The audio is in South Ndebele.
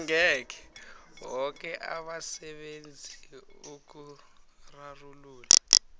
boke abasebenzi ukurarulula